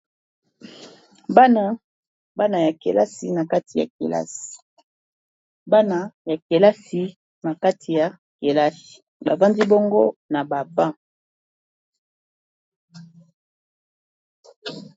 bana bana ya kelasi na kati ya kelasiana ya kelasi na kati ya kelasi bafandi bongo na baba